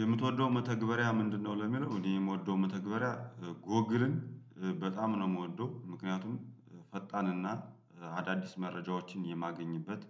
የምትወደው መተግበሪያ ምንድነው? ለሚለው እኔ የምወደው መተግበሪያ ጎግልን በጣም ነው የምወደው ምክንያቱም ፈጣንና አዳዲስ መረጃዎችን የማገኝበት